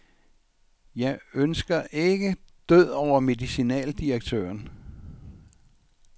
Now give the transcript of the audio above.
Jeg ønsker ikke død over medicinaldirektøren.